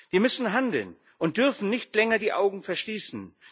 Wir müssen handeln und dürfen nicht länger die Augen verschließen.